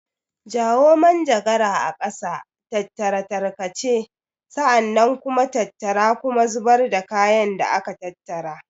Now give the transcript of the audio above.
Jawo manjagara a ƙasa, tattara tarkace, sa'an nan kuma tattara kuma zubar da kayan da aka tattara.